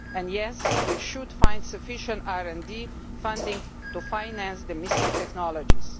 And yes, we should find sufficient RD funding to finance the missing technologies.